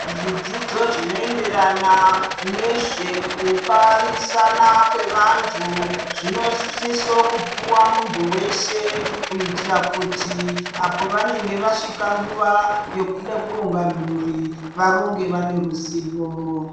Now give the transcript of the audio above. Zvidzidzi zvinoenderana nezvekubarisana kwevantu zvinosiso kupiwa muntu weshe kuitira kuti apo pavanonga vaasvika nguva yehuda kuronga mhuri varonge vane ruzivo.